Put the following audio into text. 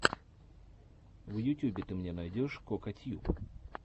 в ютюбе ты мне найдешь кокатьюб